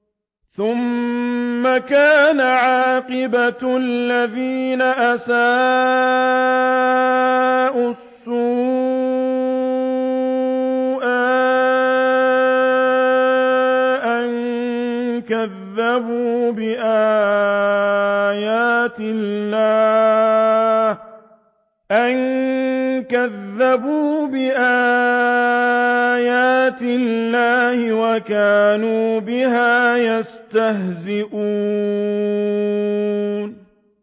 ثُمَّ كَانَ عَاقِبَةَ الَّذِينَ أَسَاءُوا السُّوأَىٰ أَن كَذَّبُوا بِآيَاتِ اللَّهِ وَكَانُوا بِهَا يَسْتَهْزِئُونَ